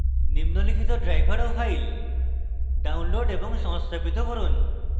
নিম্নলিখিত drivers ও files download এবং সংস্থাপিত করুন: